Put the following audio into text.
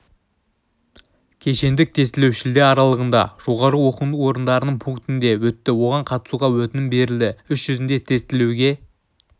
кешендік тестілеу шілде аралығында жоғары оқу орындарының пунктінде өтті оған қатысуға өтінім берілді іс жүзінде тестілеуге